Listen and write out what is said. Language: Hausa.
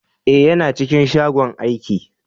Eh, yana cikin shagon aiki.